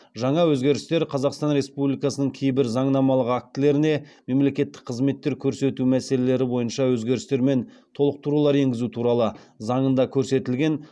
жаңа өзгерістер қазақстан республикасының кейбір заңнамалық актілеріне мемлекеттік қызметтер көрсету мәселелері бойынша өзгерістер мен толықтырулар енгізу туралы заңында көрсетілген